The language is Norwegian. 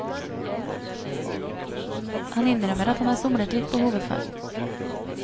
Han innrømmer at han har somlet litt på hovedfag.